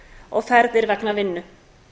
og ferðir vegna vinnu